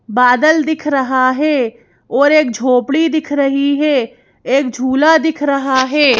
बादल दिख रहा है और एक झोपड़ी दिख रही है एक झूला दिख रहा है।